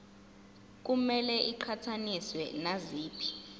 kumele iqhathaniswe naziphi